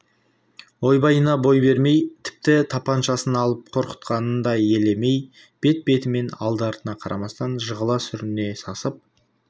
ойбайына бой бермей тіпті тапаншасын алып қорқытқанын да елемей бет-бетімен алды-артына қарамастан жығыла-сүріне сасып